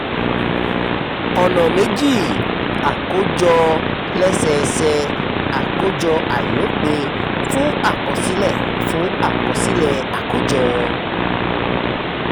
ọ̀nà méjì: àkójọ lẹ́sẹẹsẹ àti àkójọ àìlopin fún àkọsílẹ̀ fún àkọsílẹ̀ akojo.